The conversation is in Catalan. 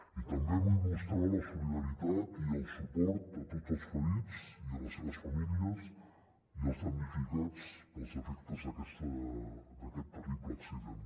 i també vull mostrar la solidaritat i el suport a tots els ferits i a les seves famílies i als damnificats pels efectes d’aquest terrible accident